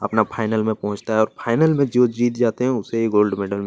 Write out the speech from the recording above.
अपना फाइनल में पहुंचता है और फाइनल में जो जीत जाते है उसे ही गोल्ड मेडल --